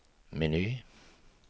meny